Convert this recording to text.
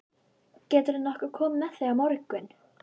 Gætirðu nokkuð komið með þau á morgun?